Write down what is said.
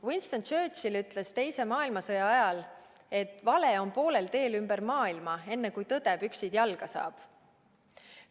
Winston Churchill ütles teise maailmasõja ajal, et vale on poolel teel ümber maailma, enne kui tõde püksid jalga saab.